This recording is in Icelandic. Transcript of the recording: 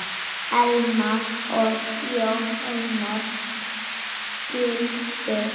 Elma og Jón Einar skildu.